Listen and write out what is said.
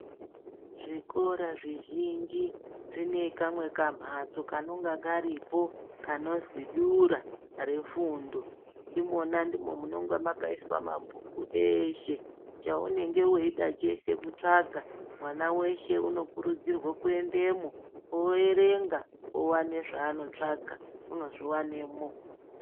Zvikora zvizhinji zvine kamwe kamhatso kanonga karipo kanozwi dura refundo imona ndimo munonga makaiswa mabhuku eeshe chaunenge weida chese kutsvaka mwana weshe unokurudzirwa kuendemwo oerenga owana zvaanotsvaka unozviwana imomo.